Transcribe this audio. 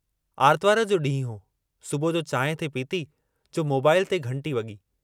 आरितवार जो ॾींहुं हो सुबुह जो चांहि थे पीती जो मोबाईल ते घंटी वॻी।